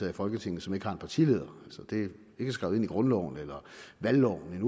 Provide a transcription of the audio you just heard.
i folketinget som ikke har en partileder det er ikke skrevet ind i grundloven eller valgloven